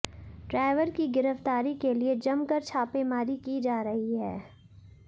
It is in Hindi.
ड्राइवर की गिरफ्तारी के लिए जमकर छापेमारी की जा रही है